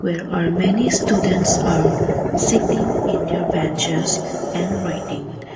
where are many students are sitting in their benches and writing.